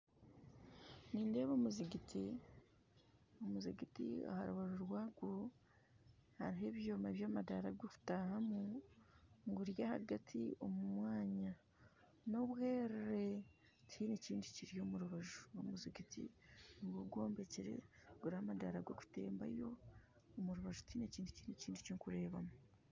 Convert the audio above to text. Nindeeba omuzigyiti aha rubaju rwago hariho ebyoma by'amadara g'okutahamu guri ahagatu omu mwanya n'obwere tihaine kintu kiri omu rubaju n'omuzigiti ogwombekyere guriho amadara g'okutembayo omu rubaju tihaine kintu ki orikureebayo